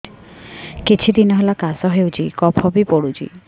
କିଛି ଦିନହେଲା କାଶ ହେଉଛି କଫ ବି ପଡୁଛି